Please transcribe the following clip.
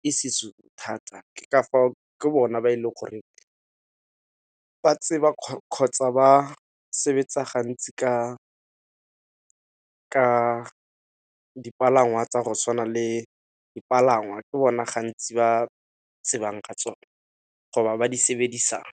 ke seZulu thata. Ke ka fao ke bona ba e leng goreng ba tseba kgotsa ba sebetsa gantsi ka dipalangwa tsa go swana le, dipalangwa ke bona gantsi ba tsebang ka tsona go ba ba di sebedisang.